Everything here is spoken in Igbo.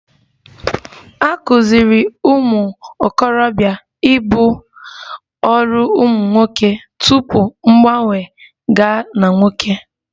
A kụziiri ụmụ okorobia ibu ọrụ ụmụ nwoke tupu mgbanwe gaa na nwoke